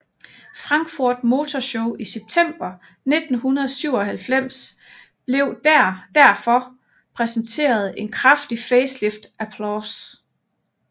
Frankfurt Motor Show i september 1997 blev der derfor præsenteret en kraftigt faceliftet Applause